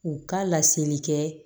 U ka laseli kɛ